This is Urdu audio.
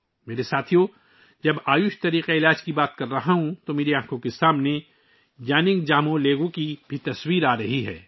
میرے ساتھیو، جب میں آیوش نظام طب کا ذکر کر رہا ہوں، تو میری آنکھوں کے سامنے یانونگ جموہ لیگو کی تصاویر بھی آ رہی ہیں